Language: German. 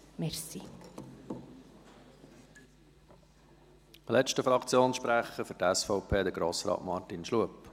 Als letzter Fraktionssprecher, für die SVP, Grossrat Martin Schlup.